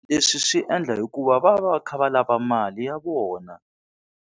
Leswi swi endla hikuva va va va kha va lava mali ya vona.